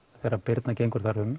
þegar Birna gengur þar um